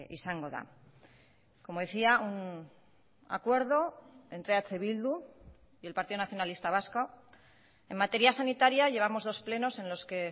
izango da como decía un acuerdo entre eh bildu y el partido nacionalista vasco en materia sanitaria llevamos dos plenos en los que